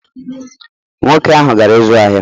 Nwoke ahụ gara ịzụ ahịa